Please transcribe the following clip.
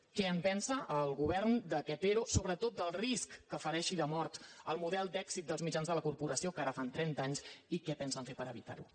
què en pensa el govern d’aquest ero sobretot del risc que fereixi de mort el model d’èxit dels mitjans de la corporació que ara fan trenta anys i què pensen fer per evitar·ho